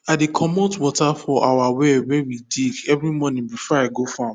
i dey commot water for our well wey we dig every morning before i go farm